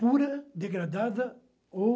Pura, degradada ou...